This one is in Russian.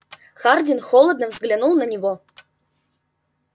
хардин холодно взглянул на него